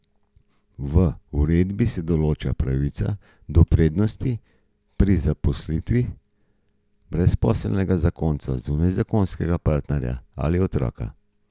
V uredbi se določa pravica do prednosti pri zaposlitvi brezposelnega zakonca, zunajzakonskega partnerja ali otroka.